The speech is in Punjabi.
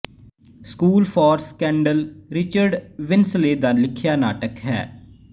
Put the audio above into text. school for scandal Richard Brinsley ਦਾ ਲਿਖਿਆ ਨਾਟਕ ਹੈ